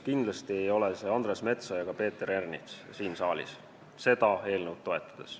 Kindlasti ei ole see Andres Metsoja ega Peeter Ernits siin saalis seda eelnõu toetades.